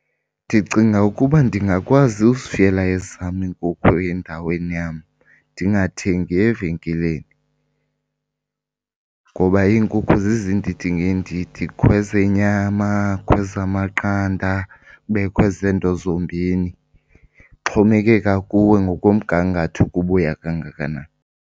Ndicinga ukuba ndingakwazi uzifuyela ezam iinkukhu endaweni yam ndingathengi evenkileni. Ngoba iinkukhu zizindidi ngeendidi, kukho ezenyama, kukho ezamaqanda, kubekho ezeento zombini, kuxhomekeka kuwe ngokomgangatho ukuba uya kangakanani.